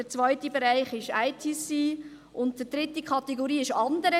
Der zweite Bereich ist derjenige der ICT, und die dritte Kategorie ist «Andere».